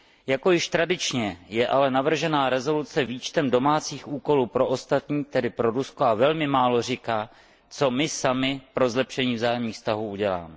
Jako již tradičně je ale navržená rezoluce výčtem domácích úkolů pro ostatní, tedy pro Rusko, a velmi málo říká, co my sami pro zlepšení vzájemných vztahů uděláme.